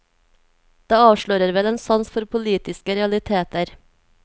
Det avslører vel en sans for politiske realiteter.